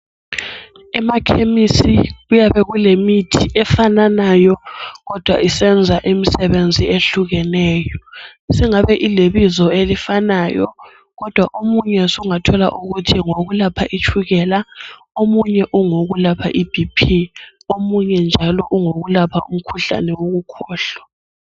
Emakhemisi kuyabe kulemithi efananayo kodwa isenza imisebenzi ehlukeneyo. Singabe ilebizo elifanayo, kodwa omunye sungathola ukuthi ngowokulapha itshukela, omunye ungowokulapha iBP, omunye njalo ungowokulapha umkhuhlane wokukhohlwa.